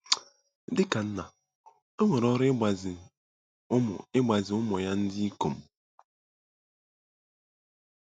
Dị ka nna, o nwere ọrụ ịgbazi ụmụ ịgbazi ụmụ ya ndị ikom.